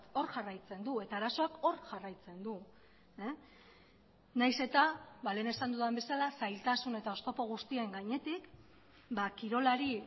hor jarraitzen du eta arazoak hor jarraitzen du nahiz eta lehen esan dudan bezala zailtasun eta oztopo guztien gainetik kirolari